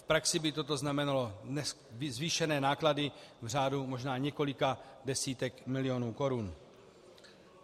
V praxi by toto znamenalo zvýšené náklady v řádu možná několika desítek milionů korun.